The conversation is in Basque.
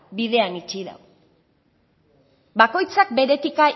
bidean itxi dau bakoitzak bere etika